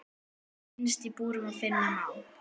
Innst í búri finna má.